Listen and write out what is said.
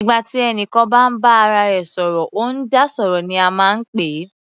Nígbà tí ẹnìkan bá ń bá ara rẹ̀ sọ̀rọ̀, ó ń dá sọ̀rọ̀ ní a máa ń pè é.